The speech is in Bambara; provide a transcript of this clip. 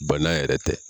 Bana yɛrɛ tɛ